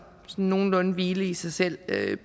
nogenlunde hvile i sig selv